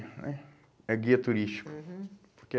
Que é... É guia turístico. Aham.